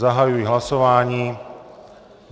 Zahajuji hlasování.